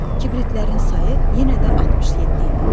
Kibritlərin sayı yenə də 67 idi.